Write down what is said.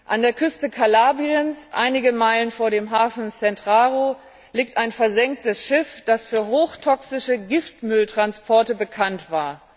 An der Küste Kalabriens, einige Meilen vor dem Hafen Cetraro, liegt ein versenktes Schiff, das für hochtoxische Giftmülltransporte bekannt war.